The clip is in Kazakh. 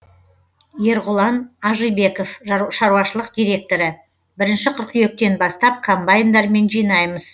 ерғұлан ажибеков шаруашылық директоры қыркүйектен бастап комбайндармен жинаймыз